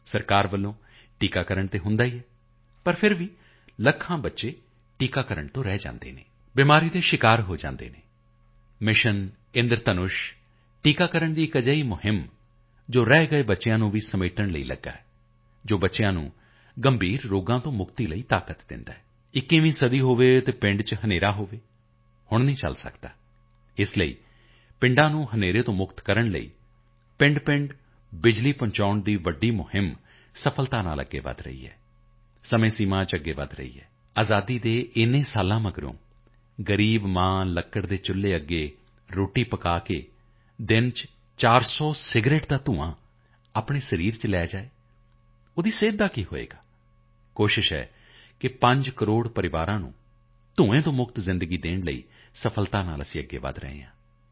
ਸਰਕਾਰ ਦੀ ਤਰਫ਼ ਤੋਂ ਟੀਕਾਕਰਣ ਤਾਂ ਹੁੰਦਾ ਹੀ ਹੈ ਪਰ ਫਿਰ ਵੀ ਲੱਖਾਂ ਬੱਚੇ ਟੀਕਾਕਰਣ ਤੋਂ ਰਹਿ ਜਾਂਦੇ ਹਨ ਬਿਮਾਰੀ ਦੇ ਸ਼ਿਕਾਰ ਹੋ ਜਾਂਦੇ ਹਨ ਮਿਸ਼ਨ ਇੰਦਰਧਨੁਸ਼ ਟੀਕਾਕਰਣ ਦਾ ਇੱਕ ਅਜਿਹਾ ਅਭਿਆਨ ਹੈ ਜੋ ਰਹਿ ਗਏ ਬੱਚਿਆਂ ਨੂੰ ਵੀ ਸਮੇਟਣ ਲਈ ਲੱਗਿਆ ਹੈ ਜੋ ਬੱਚਿਆਂ ਨੂੰ ਗੰਭੀਰ ਰੋਗਾਂ ਤੋਂ ਮੁਕਤੀ ਲਈ ਤਾਕਤ ਦਿੰਦਾ ਹੈ 21ਵੀਂ ਸਦੀ ਹੋਵੇ ਅਤੇ ਪਿੰਡ ਵਿੱਚ ਹਨੇਰਾ ਹੋਵੇ ਹੁਣ ਨਹੀਂ ਚਲ ਸਕਦਾ ਅਤੇ ਇਸ ਲਈ ਪਿੰਡਾਂ ਨੂੰ ਹਨੇਰੇ ਤੋਂ ਮੁਕਤ ਕਰਨ ਲਈ ਪਿੰਡ ਬਿਜਲੀ ਪਹੁੰਚਾਉਣ ਦਾ ਵੱਡਾ ਅਭਿਆਨ ਸਫਲਤਾਪੂਰਵਕ ਅੱਗੇ ਵਧ ਰਿਹਾ ਹੈ ਸਮਾਂ ਸੀਮਾ ਵਿੱਚ ਅੱਗੇ ਵਧ ਰਿਹਾ ਹੈ ਅਜ਼ਾਦੀ ਦੇ ਇੰਨੇ ਸਾਲਾਂ ਦੇ ਬਾਅਦ ਗ਼ਰੀਬ ਮਾਂ ਲੱਕੜੀ ਦੇ ਚੁੱਲ੍ਹੇ ਤੇ ਖਾਣਾ ਪਕਾ ਕੇ ਦਿਨ ਵਿੱਚ 400 ਸਿਗਰਟ ਦਾ ਧੂੰਆਂ ਆਪਣੇ ਸਰੀਰ ਵਿੱਚ ਲੈ ਜਾਏ ਉਸ ਦੀ ਸਿਹਤ ਦਾ ਕੀ ਹੋਏਗਾ ਕੋਸ਼ਿਸ਼ ਹੈ 5 ਕਰੋੜ ਪਰਿਵਾਰਾਂ ਨੂੰ ਧੂੰਏ ਤੋਂ ਮੁਕਤ ਜ਼ਿੰਦਗੀ ਦੇਣ ਲਈ ਸਫਲਤਾ ਦੀ ਤਰਫ਼ ਅੱਗੇ ਵਧ ਰਹੇ ਹਾਂ